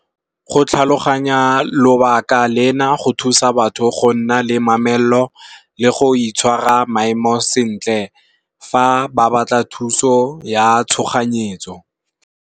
Go tlhaloganya lobaka lena go thusa batho go nna le mamello. Le go itshwara maemo sentle fa ba batla thuso ya tshoganyetso.